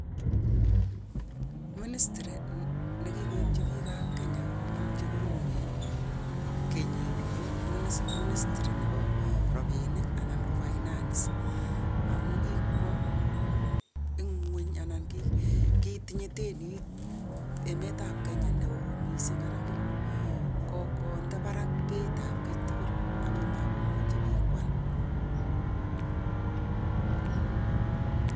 ministry nekikoibji bik ab Kenya kobun cheuen ko nebo robinik anan ko finance amun kikwoo ng'uny ak yakset neoo mising